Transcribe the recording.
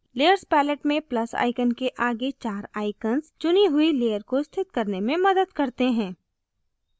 layers palette में plus icon के आगे चार icons चुनी हुए layer को स्थित करने में मदद करते हैं